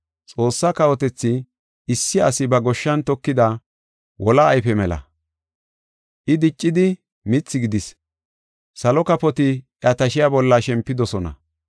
Xoossa kawotethi issi asi ba goshshan tokida wola ayfe mela. I diccidi mithi gidis. Salo kafoti iya tashiya bolla shempidosona.”